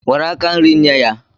Nwere aka nri, nye ya